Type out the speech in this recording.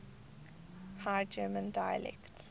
high german dialects